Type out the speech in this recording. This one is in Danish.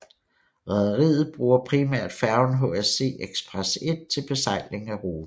Rederiet bruger primært færgen HSC Express 1 til besejling af ruten